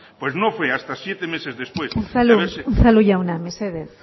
pues no fue hasta siete meses después unzalu jauna mesedez